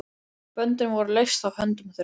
Böndin voru leyst af höndum þeirra.